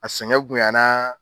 A sɛgɛn boyanna